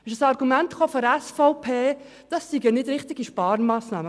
Von der SVP kam das Argument, es handle sich nicht um eine richtige Sparmassnahme.